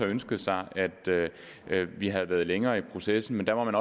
ønsket sig at vi havde været længere i processen men der må man